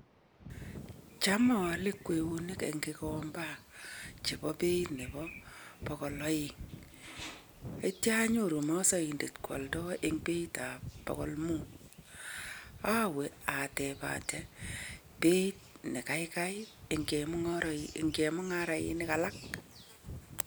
Cham aale kweyonik eng kigomba chebo beit nebo bogol aeng. Akitya anyoru masaindet koaldoi eng beitab bogol mut. Awe atebate beit ne gaigai eng chemungarainik alak.